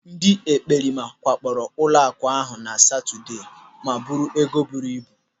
Ndị ekperima wakporo ụlọaku ahụ na Satọde ma buo ego buru ibu.